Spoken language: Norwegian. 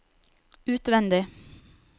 utvendig